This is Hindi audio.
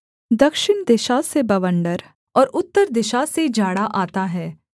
दक्षिण दिशा से बवण्डर और उत्तर दिशा से जाड़ा आता है